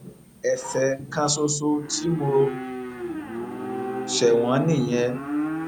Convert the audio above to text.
ẹsẹ kan ṣoṣo tí mo ṣe wọn nìyẹn